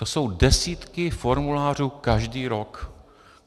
To jsou desítky formulářů každý rok.